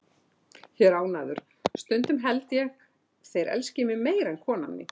Ég er ánægður, stundum held ég þeir elski mig meira en konan mín.